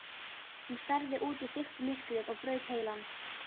Hún starði út í þykkt myrkrið og braut heilann.